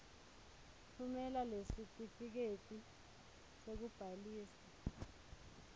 tfumela lesitifiketi sekubhalisa